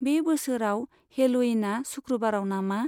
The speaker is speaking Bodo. बे बोसोराव हेल'उइना सुक्रुबाराव नामा?